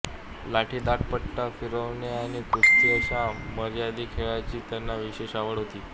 लाठीदांडपट्टा फिरवणे आणि कुस्ती अशा मर्दानी खेळांची त्यांना विशेष आवड होती